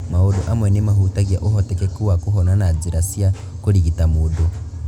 Maũndu amwe nĩ mahutagia ũhotekeku wa kũhona na njĩra cia kũrigita mũndũ.